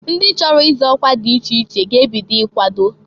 Ndị chọrọ ịzọ ọkwa dị iche iche ga-ebido ikwado.